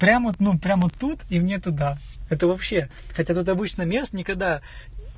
прям вот ну прям вот тут и мне туда это вообще хотя тут обычно мест никогда